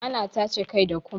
Ana tace kai da kom